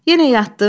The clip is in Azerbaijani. Yenə yatdın?